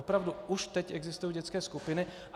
Opravdu, už teď existují dětské skupiny.